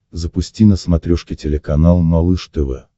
запусти на смотрешке телеканал малыш тв